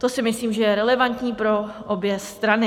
To si myslím, že je relevantní pro obě strany.